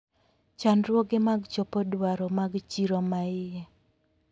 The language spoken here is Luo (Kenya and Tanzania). Chandruoge mag chopo dwaro mag chiro maie.